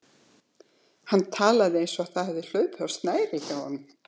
Hann talaði eins og það hefði hlaupið á snærið hjá honum.